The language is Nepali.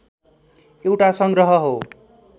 एउटा संग्रह हो